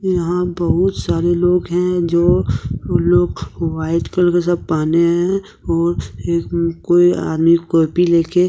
यहा बहुत सारे लोग है जो लोग व्हाइट कलर जैसा पहने है ओ एक कोई आदमी कोपी लेके--